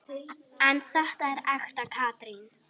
En þetta er ekta Katrín.